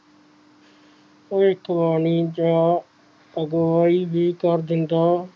ਭਵਿਖਵਾਣੀ ਜਾਂ ਅਗੁਵਾਈ ਹੀ ਕਰ ਦਿੰਦਾ